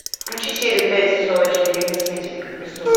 включи серию пять сезона четыре мыслитель как преступник